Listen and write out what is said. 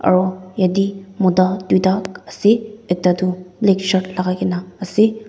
aru yate mota duita ase ekta toh black shirt lagaikena ase.